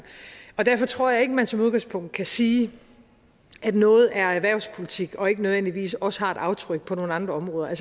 derfor tror jeg ikke at man som udgangspunkt kan sige at noget er erhvervspolitik og ikke nødvendigvis ikke også har et aftryk på nogle andre områder